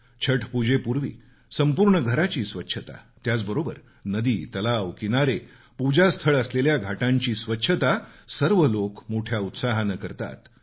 छठपुजेपूर्वी संपूर्ण घराची स्वच्छता त्याचबरोबर नदी तलाव किनारे पूजास्थळ असलेल्या घाटांची स्वच्छता सर्व लोक मोठ्या उत्साहानं करतात